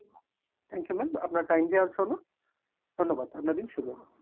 thank you ma'am আপনার time দেয়ার জন্য ধন্যবাদ, আপনার দিন শুভ হোক।